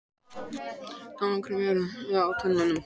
Tannkrem eru framleidd til hreinsunar á tönnum.